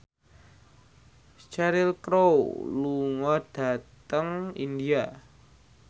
Cheryl Crow lunga dhateng India